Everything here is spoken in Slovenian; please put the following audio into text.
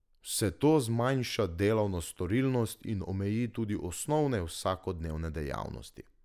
Vse to zmanjša delovno storilnost in omeji tudi osnovne vsakodnevne dejavnosti.